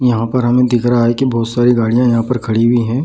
यहाँ पर हमे दिख रहा है की बहुत सारी गाडियां यहाँ पर खड़ी हुई है ।